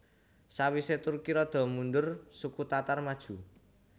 Sawise Turki rada mundur suku Tatar maju